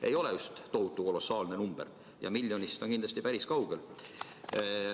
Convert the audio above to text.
Ei ole just kolossaalne number ja miljonist on see kindlasti päris kaugel.